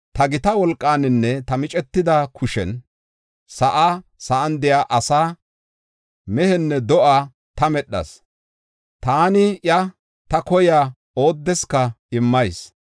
‘Ta gita wolqaaninne ta micetida kushen sa7aa, sa7an de7iya asaa, mehenne do7ata medhas; taani iya, ta koyiya oodeska immayis.